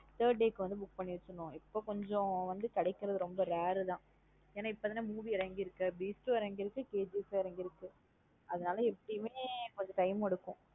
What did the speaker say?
Third day க்கு வந்து book பண்ணி வச்சிரணும். இப்ப கொஞ்சம் வந்து கிடைக்கிறது ரொம்ப rare உ தான். என் நா இப்போ தன movie இறங்கி இருக்கு Beast ம் இறங்கி இருக்கு KGF ம் இறங்கி இருக்கு. அது நல்ல எப்பையுமே கொஞ்சம் time எடுக்கும்.